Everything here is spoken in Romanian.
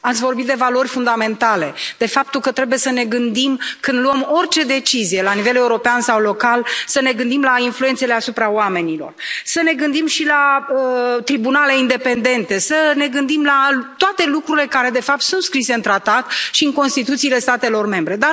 Ați vorbit de valori fundamentale, de faptul că trebuie să ne gândim când luăm orice decizie la nivel european sau local, să ne gândim la influențele asupra oamenilor, să ne gândim și la tribunale independente, să ne gândim la toate lucrurile care, de fapt, sunt scrise în Tratat și în Constituțiile statelor membre.